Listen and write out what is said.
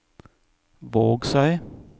Vågsøy